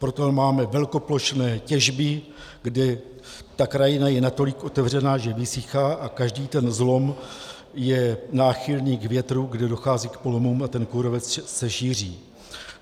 Proto máme velkoplošné těžby, kde ta krajina je natolik otevřená, že vysychá, a každý ten zlom je náchylný k větru, kde dochází k polomům a ten kůrovec se šíří.